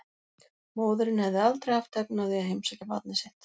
Móðirin hefði aldrei haft efni á því að heimsækja barnið sitt.